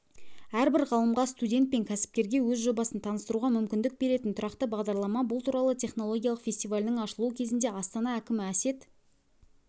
әрбір ғалымға студент пен кәсіпкерге өз жобасын таныстыруға мүмкіндік беретін тұрақты бағдарлама бұл туралы технологиялық фестивалінің ашылуы кезінде астана әкімі әсет